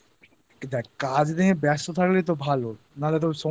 দেখ কাজ নিয়ে ব্যস্ত থাকলেই তো ভালো না হলে